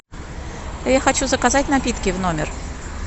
я хочу заказать напитки в номер